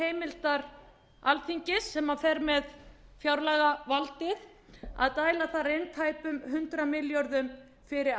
heimildar alþingis sem fer með fjárlagavaldið að dæla þar inn tæpum hundrað milljörðum fyrir